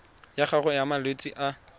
ya gago ya malwetse a